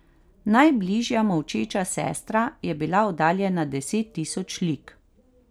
Najbližja molčeča sestra je bila oddaljena deset tisoč lig.